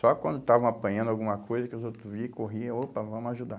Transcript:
Só quando estavam apanhando alguma coisa que os outros vinham e corriam, opa, vamos ajudar.